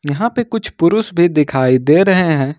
यहां पे कुछ पुरुष भी दिखाई दे रहे हैं।